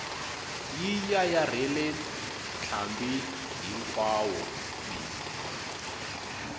yi yayarhela ntlhambi hinkwawo bi